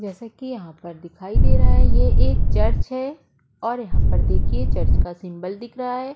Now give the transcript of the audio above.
जैसा कि यहाँ पर दिखाई दे रहा है ये एक चर्च है और यहाँ पर देखिए चर्च का सिंबल दिख रहा है।